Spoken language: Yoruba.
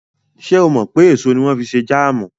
Ṣé o mọ̀ pé èso ni wọ́n fi ń ṣe jáàmù?